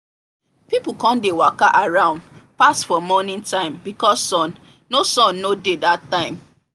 people come dey waka around pass for morning time because sun no sun no dey that time